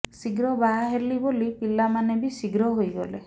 ଶୀଘ୍ର ବାହା ହେଲି ବୋଲି ପିଲାମାନେ ବି ଶୀଘ୍ର ହେଇଗଲେ